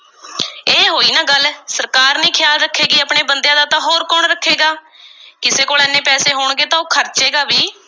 ਇਹ ਹੋਈ ਨਾ ਗੱਲ, ਸਰਕਾਰ ਨਹੀਂ ਖ਼ਿਆਲ ਰੱਖੇਗੀ, ਆਪਣੇ ਬੰਦਿਆਂ ਦਾ, ਤਾਂ ਕੌਣ ਰੱਖੇਗਾ? ਕਿਸੇ ਕੋਲ ਐਨੇ ਪੈਸੇ ਹੋਣਗੇ ਤਾਂ ਉਹ ਖ਼ਰਚੇਗਾ ਵੀ।